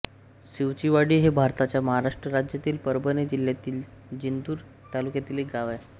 शिवचीवाडी हे भारताच्या महाराष्ट्र राज्यातील परभणी जिल्ह्यातील जिंतूर तालुक्यातील एक गाव आहे